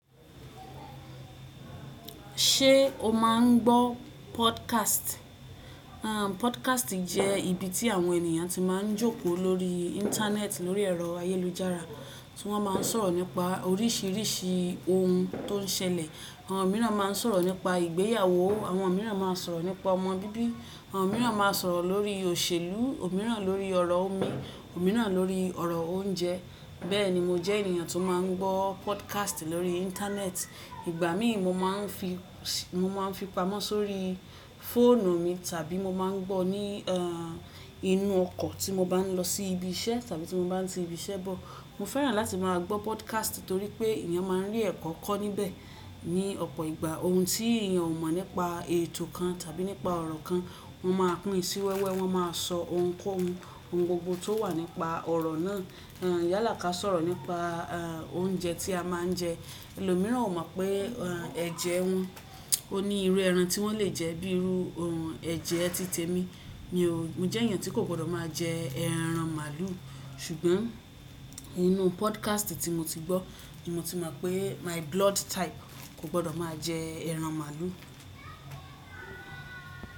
Ṣé o máa ń gbọ́ podcast? Àhn, podcast jẹ́ ibi tí àwọn ènìyàn ti máa ń jókòó lórí Íńtánẹ́ẹ̀tì lórí ẹ̀rọ ayélujára, tí wọ́n máa ń sọ̀rọ̀ nípa oríṣìíríṣìí ohun tó ń ṣẹlẹ̀. Àwọn mìíràn máa ń sọ̀rọ̀ nípa ìgbéyàwó, àwọn mìíràn máa ń sọ̀rọ̀ nípa ọmọ bíbí, àwọn mìíràn máa ń sọ̀rọ̀ lórí òṣèlú, òmíràn lórí ọ̀rọ̀ omi, òmíràn lórí ọ̀rọ̀ oúnjẹ. Bẹ́ẹ̀ ni, mo jẹ́ ènìyàn tó máa ń gbọ́ podcast lórí Íńtánẹ́ẹ̀tì. Ìgbà míì mo máa ń fi, mo máa ń fi pamọ́ sórí fóònù mi tàbí mo máa ń gbọ́ ní, àn, inú ọkọ̀ tí mo bá ń lọ sí ibi iṣẹ́ tàbí tí mo bá ń ti ibi iṣẹ́ bọ̀. Mo fẹ́ràn láti máa gbọ́ podcast torí pé ènìyàn máa ń rí ẹ̀kọ́ kọ́ níbẹ̀. Ni ọ̀pọ̀ ìgbà ohun tí èeyàn ò mọ̀ nípa ètò kan tàbí nípa ọ̀rọ̀ kan, wọ́n máa pín sí wẹ́wẹ́, wọ́n máa sọ ohunkóhun, ohun gbogbo tó wà nípa ọ̀rọ̀ náà. Àn, yálà ká sọ̀rọ̀ nípa, àn, oúnjẹ tí a máa ń jẹ. Ẹlòmíràn ò mọ̀ pé, àn, ẹ̀jẹ̀ wọn ó ní irú ẹran tí wọ́n lè jẹ́ bíi irú ẹran, ẹ̀jẹ̀ ẹ titẹ́ mi. Mi ò, mo jẹ́ ènìyàn tí kò gbọ́dọ̀ máa jẹ ẹran màálù. Ṣùgbọ́n inú podcast tí mo ti gbọ́ ni mo ti mọ̀ pé my blood type kò gbọ́dọ̀ máa jẹ ẹran màálù.